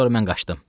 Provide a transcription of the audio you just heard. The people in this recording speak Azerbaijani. Sonra mən qaçdım.